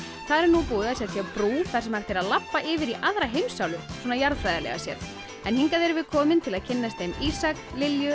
þar er nú búið að setja brú þar sem hægt er að labba yfir í aðra heimsálfu jarðfræðilega séð hingað erum við komin til að kynnast þeim Ísak Lilja